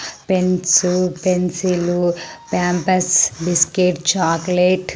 Pens pencil Pampers biscuit chocolate .